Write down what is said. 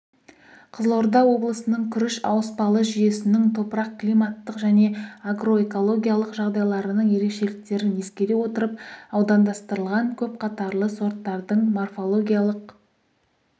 қызылорда облысының күріш ауыспалы жүйесінің топырақ-климаттық және агроэкологиялық жағдайларының ерекшеліктерін ескере отырып аудандастырылған көпқатарлы сорттардың морфологиялық